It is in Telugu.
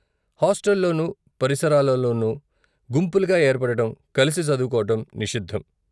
హాస్టల్లోనూ, పరిసరాలలోనూ, గుంపులుగా ఏర్పడటం, కలిసి చదువుకోవటం నిషిద్ధం.